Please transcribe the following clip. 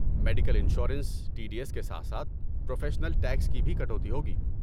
Medical insurance, T D S کے ساتھ ساتھ پروفیشنل ٹیکس کی بھی کٹوتی ہوگی۔